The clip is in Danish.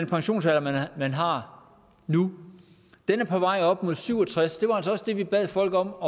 pensionsalder man har nu er på vej op imod syv og tres og det var også det vi bad folk om